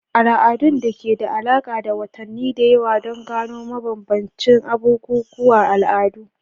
Al'adun da ke da alaƙa da watanni da yawa don gano bambancin bukukuwan al'adu.*